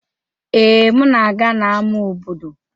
Ee, m na-aga n'ámá obodo.